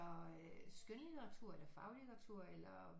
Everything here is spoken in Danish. Skønlitteratur eller faglitteratur eller